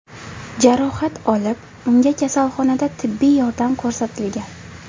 jarohat olib, unga kasalxonada tibbiy yordam ko‘rsatilgan.